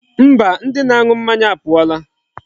Mba, ndi na-anu mmanya apuola.